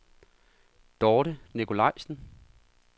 Dorthe Nicolajsen